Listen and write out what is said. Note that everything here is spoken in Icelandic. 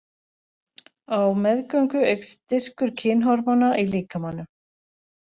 Á meðgöngu eykst styrkur kynhormóna í líkamanum.